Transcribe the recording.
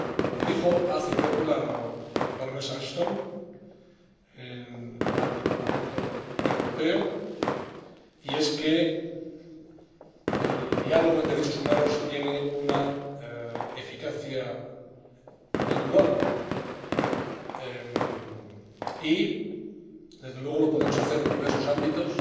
Lo dijo hace poco la Baronesa Ashton ante el Parlamento Europeo el diálogo sobre derechos humanos tiene una eficacia indudable y, desde luego, lo podemos hacer en diversos ámbitos.